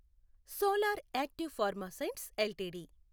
solar active pharma science LTD